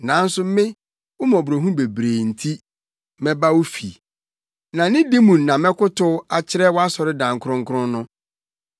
Nanso me, wo mmɔborɔhunu bebrebe nti, mɛba wo fi; na nidi mu na mɛkotow akyerɛ wʼasɔredan kronkron no.